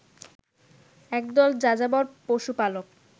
একদল যাযাবর পশুপালক